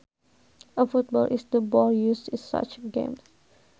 A football is the ball used in such games